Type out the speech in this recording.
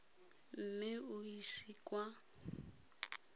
mme o e ise kwa